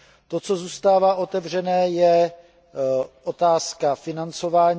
To, co zůstává otevřené, je otázka financování.